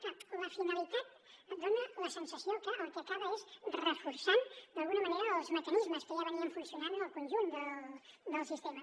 clar la finalitat dona la sensació que el que acaba és reforçant d’alguna manera els mecanismes que ja funcionaven en el conjunt del sistema